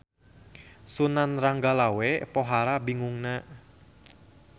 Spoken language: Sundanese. Sunan Ranggalawe pohara bingungna.